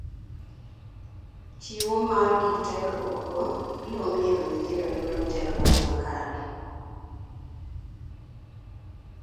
Chiwo mar gik tiegruok go biro miyo nyithindo yudo tiegruok makare.